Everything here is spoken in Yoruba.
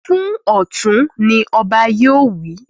Fún Ọ̀tún! Ọba yóò wí.